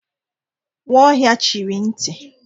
Nwaohia chịrị nti.